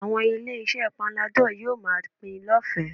Àwọn ilé-iṣẹ́ panadol yóò máa pín in lọ́fẹ̀ẹ́